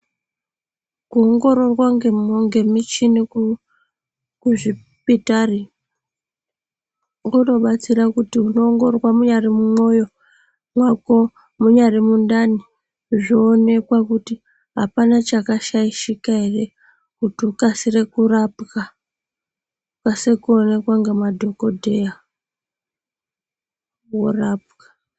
Kuongororwa ngemichini kuzvipitari kunobatsira kuti unoongororwa munyari mumwoyo mwako, munyari mundani zvoonekwa kuti hapana chakashaishika here kuti ukasire kurapwa, ukasire kuonekwa ngemadhogodheya, worapwa.